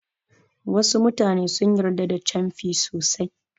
Wasu mutane sun yarda da canfi sosai.